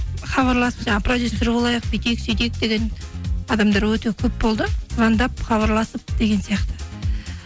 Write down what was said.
хабарласып жаңа продюсер болайық бүйтейік сөйтейік деген адамдар өте көп болды звондап хабарласып деген сияқты